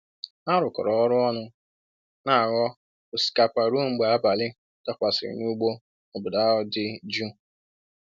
Ha rụkọrọ ọrụ ọnụ n'aghọ osikapa ruo mgbe abalị dakwasịrị n'ugbo obodo ahụ dị jụụ.